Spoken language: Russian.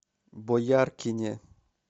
бояркине